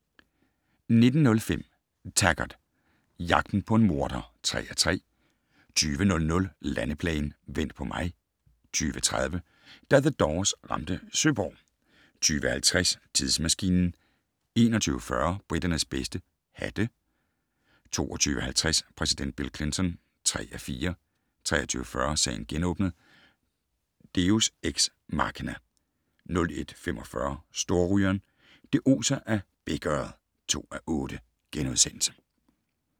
19:05: Taggart: Jagten på en morder (3:3) 20:00: Landeplagen - "Vent på mig" 20:30: Da The Doors ramte Søborg 20:50: Tidsmaskinen 21:40: Briternes bedste - hatte 22:50: Præsident Bill Clinton (3:4) 23:40: Sagen genåbnet: Deus ex machina 01:45: Storrygeren - det oser af bækørred (2:8)*